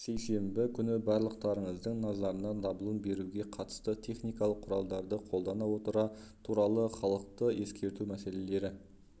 сейсенбі күні барлықтарыңыздың назарына дабылын беруге қатысты техникалық құралдарды қолдана отыра туралы халықты ескерту мәселелері